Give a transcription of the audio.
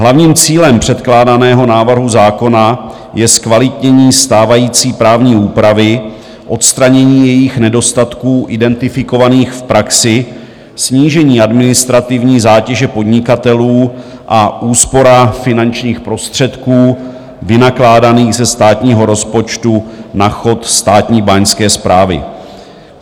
Hlavním cílem předkládaného návrhu zákona je zkvalitnění stávající právní úpravy, odstranění jejích nedostatků identifikovaných v praxi, snížení administrativní zátěže podnikatelů a úspora finančních prostředků vynakládaných ze státního rozpočtu na chod Státní báňské správy.